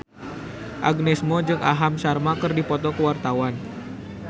Agnes Mo jeung Aham Sharma keur dipoto ku wartawan